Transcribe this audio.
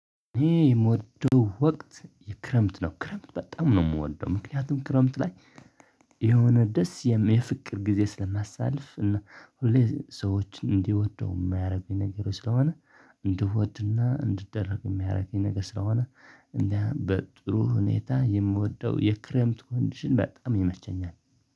የምወደው ወቅት የክረምት ነው ክረምት በጣም ነው የምወደው። ምክንያቱም ክረምት ላይ የሆነ ደስ የሚል ፍቅር ጊዜ ስለማሳልፍ እና ሁሌ ሰዎችን እንዲወደው የማያደርገኝ ነገር ስለሆነ እንድወድና እንድደረግ የሚያረገኝ ነገር ስለሆነ እንደው በጥሩ ሁኔታ የምወደው የክረምት ኮንዲሽን በጣም ይመቸኛል